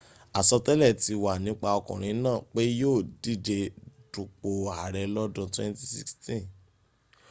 àsọtẹ́lẹ̀ ti wà nípa ọkùnrin náà pé yíò díje dunpò ààrẹ lọ́dún 2016